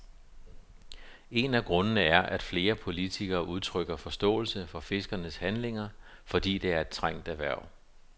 En af grundene er, at flere politikere udtrykker forståelse for fiskernes handlinger, fordi det er et trængt erhverv.